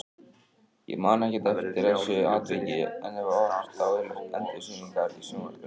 Ég man ekkert eftir þessu atviki en hef horft á endursýningar í sjónvarpinu.